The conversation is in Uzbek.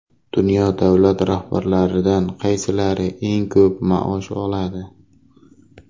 Dunyo davlat rahbarlaridan qaysilari eng ko‘p maosh oladi?